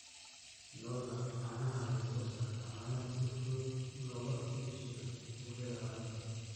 Lo'da caanaha ayaa soo saarta caano si fudud looga iibsado suuqyada caalamka.